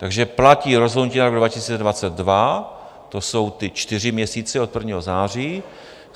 Takže platí rozhodnutí na rok 2022, to jsou ty čtyři měsíce od 1. září.